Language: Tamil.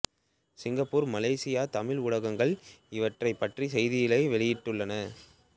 சிங்கப்பூர் மலேசியத் தமிழ் ஊடகங்கள் இவரைப் பற்றிய செய்திகளை வெளியிட்டுள்ளன